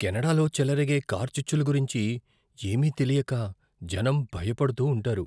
కెనడాలో చెలరేగే కార్చిచ్చుల గురించి ఏమీ తెలియక జనం భయపడుతూ ఉంటారు.